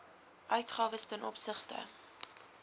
uitgawes ten opsigte